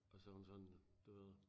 Og så hun sådan du ved